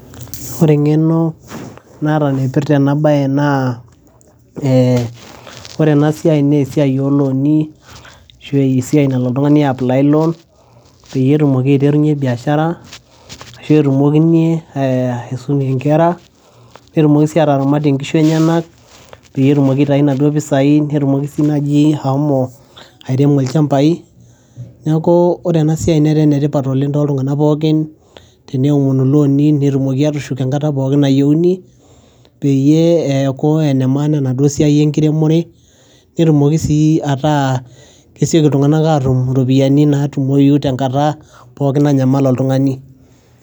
Ore eng'eno naata naipirta ena baye naa ore enasiai naa esiai oloni ashu esiai nalo oltung'ani aiyaplai loan, peyie etumoki eaiterunye biashara ashu etumokinye aisumie nkera, netumoki sii ataramatie nkishu enyena, peyie etumoki aitoyu naduo pesai, netumoki sii naji ashomo airemo ilchambai, neeku ore ena siai neet ene tipat oleng' too iltungana pookin tenomoni loni, netumokini atushuk enkata pookin nayouni , peyie ekuu enemaana enaduo siai enkiremore, netumoki saa ataa kesioki iltung'ana atum iropiani natumoyu tenkata pookin nanyamal oltung'ani.